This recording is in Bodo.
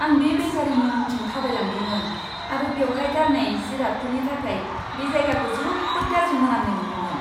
आं बे बेकारीनि उनथिं थाबायलांदोंमोन आरो बेवहाय गारनाय जिरादफोरनि थाखाय बे जायगाखौ जोबोद गाज्रि मोनामनाय मोन्दोंमोन!